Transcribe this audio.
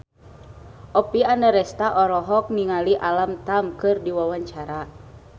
Oppie Andaresta olohok ningali Alam Tam keur diwawancara